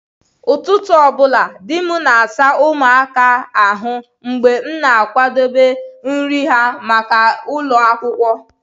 Ụtụtụ ọbụla, di m na-asa ụmụaka ahụ mgbe m na-akwadebe nri ha maka ụlọ akwụkwọ.